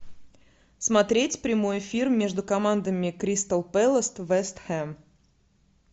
смотреть прямой эфир между командами кристал пэлас вест хэм